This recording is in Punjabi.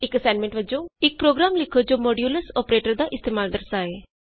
ਇਕ ਅਸਾਈਨਮੈਂਟ ਵਜੋਂ ਇਕ ਪ੍ਰੋਗਰਾਮ ਲਿਖੋ ਜੋ ਮੋਡਯੂਲਸ ਅੋਪਰੇਟਰ ਦਾ ਇਸਤੇਮਾਲ ਦਰਸਾਏ